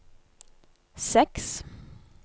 seks